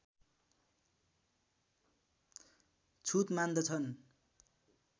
छुत मान्दछन्